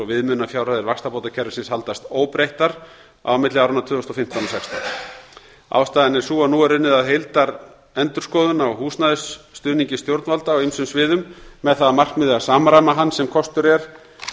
viðmiðunarfjárhæðir vaxtabótakerfisins haldast óbreyttar milli áranna tvö þúsund og fimmtán og tvö þúsund og sextán ástæðan er sú að nú er unnið að endurskoðun á húsnæðisstuðningi stjórnvalda á ýmsum sviðum með það að markmiði að samræma hann sem kostur er